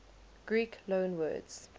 greek loanwords